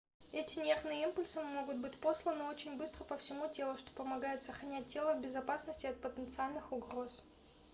эти нервные импульсы могут быть посланы очень быстро по всему телу что помогает сохранять тело в безопасности от потенциальных угроз